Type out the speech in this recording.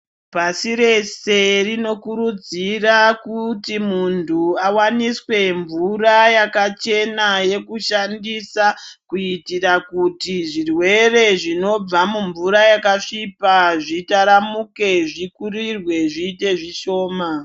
Pashi reshe rinokurudzirwa kuti Muntu awaniswe mvura yekudhandisa kuitira kuti muntu zvirwere zvinobva mumvura yakasvipa zvitaramurwe zviite zvishoma.